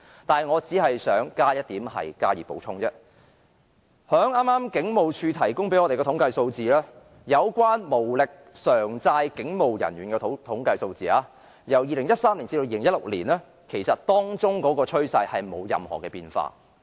但是，我只想補充一點，從警務處剛剛向我們提供的統計數字看來，無力償債的警務人員的統計數字，由2013年至2016年的趨勢並沒有任何變化。